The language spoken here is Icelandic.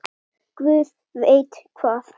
Guð veit hvað!